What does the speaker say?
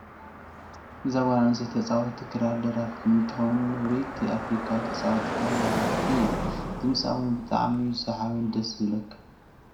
እዛ ጓል ኣነስተይቲ ተፃዋቲት ክራርን ደራፊትን እንትትከውን ውሪይቲ ኣፍሪካዊት ተፃዋቲት ክራርን ደራፊትን እያ። ድምፃ እውን ብጣዕሚ እዩ ሰሓብን ደስ ዝብለካን።